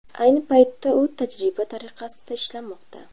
Ayni paytda u tajriba tariqasida ishlamoqda.